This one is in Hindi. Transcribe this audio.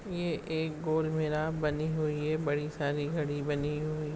ये एक बनी हुई है बडी सारी घडी बनी हुई --